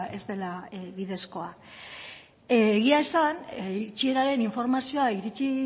ez dela bidezkoa egia esan itxieraren informazioa iritsi